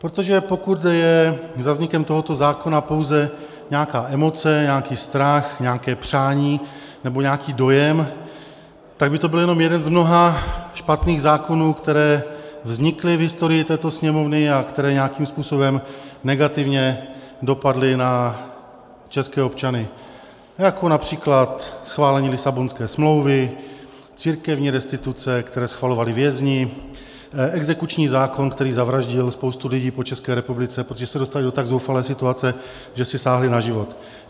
Protože pokud je za vznikem tohoto zákona pouze nějaká emoce, nějaký strach, nějaké přání nebo nějaký dojem, tak by to byl jenom jeden z mnoha špatných zákonů, které vznikly v historii této Sněmovny a které nějakým způsobem negativně dopadly na české občany, jako například schválení Lisabonské smlouvy, církevní restituce, které schvalovali vězni, exekuční zákon, který zavraždil spoustu lidí po České republice, protože se dostali do tak zoufalé situace, že si sáhli na život.